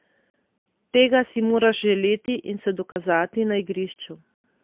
Tega si moraš želeti in se dokazati na igrišču.